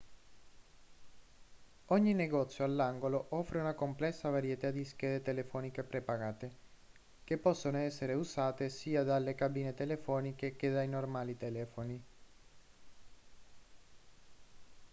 ogni negozio all'angolo offre una complessa varietà di schede telefoniche prepagate che possono essere usate sia dalle cabine telefoniche che dai normali telefoni